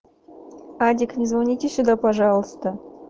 адик не звоните сюда пожалуйста